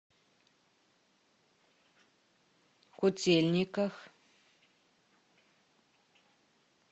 котельниках